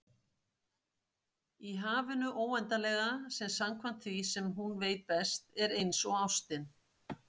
Í hafinu óendanlega, sem samkvæmt því sem hún veit best, er einsog ástin.